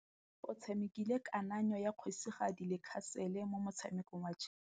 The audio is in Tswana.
Oratile o tshamekile kananyô ya kgosigadi le khasêlê mo motshamekong wa chess.